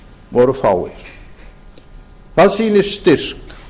voru fáir það sýnir styrk